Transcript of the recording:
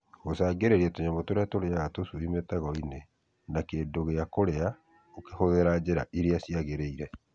Gũcagĩrĩria tũnyamũ tũrĩa tũrĩaga tũcui mĩtego-ini na kĩndũ gĩa kũrĩa ũkĩhũthĩra njĩra iria ciagĩrĩire.